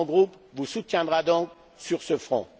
Mon groupe vous soutiendra donc sur ce front.